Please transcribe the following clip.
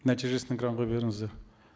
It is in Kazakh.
нәтижесін экранға беріңіздер